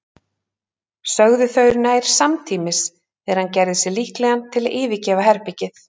sögðu þau nær samtímis þegar hann gerði sig líklegan til að yfirgefa herbergið.